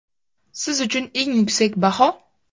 Siz uchun eng yuksak baho?